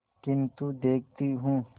किन्तु देखती हूँ